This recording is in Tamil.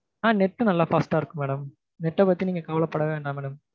உம் net நல்லா fast ஆ இருக்கும் madamnet அ பத்தி நீங்க கவலைப்பட வேண்டாம் madam